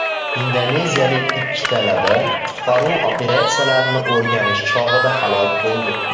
Indoneziyalik ikki talaba qutqaruv operatsiyalarini o‘rganish chog‘ida halok bo‘ldi.